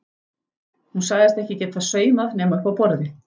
Hún sagðist ekki geta saumað nema uppi á borði.